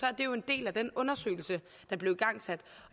er det jo en del af den undersøgelse der blev igangsat